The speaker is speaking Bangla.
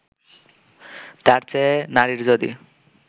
তার চেয়ে নারীর যদি